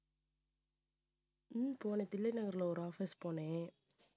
உம் போனே தில்லை நகர்ல ஒரு office போனேன்.